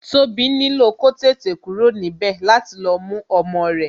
Tobi nílò kó tètè kúrò níbè láti lọ mú ọmọ rẹ